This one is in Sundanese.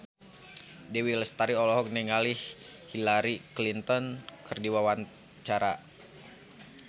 Dewi Lestari olohok ningali Hillary Clinton keur diwawancara